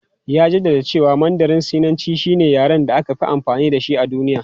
Ya jaddada cewa Mandarin Sinanci shine yaren da aka fi amfani da shi a duniya.